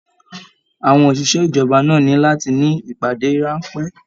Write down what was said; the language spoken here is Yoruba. Àwọn oṣiṣẹ ìjọba náà ní láti ní ìpàdé ránpẹ́.